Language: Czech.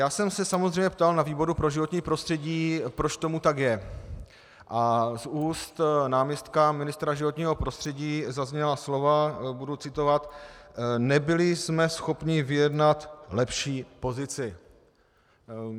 Já jsem se samozřejmě ptal na výboru pro životní prostředí, proč tomu tak je, a z úst náměstka ministra životního prostředí zazněla slova - budu citovat: Nebyli jsme schopni vyjednat lepší pozici.